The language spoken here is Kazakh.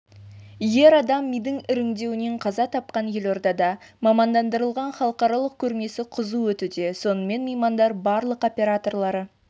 ер адам мидың іріңдеуінен қаза тапқан елордада мамандандырылған халықаралық көрмесі қызу өтуде сонымен меймандар барлық операторлары